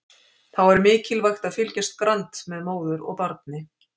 Þá er mikilvægt að fylgjast grannt með móður og barni.